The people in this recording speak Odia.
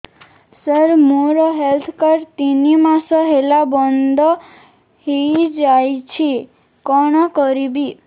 ସାର ମୋର ହେଲ୍ଥ କାର୍ଡ ତିନି ମାସ ହେଲା ବନ୍ଦ ହେଇଯାଇଛି କଣ କରିବି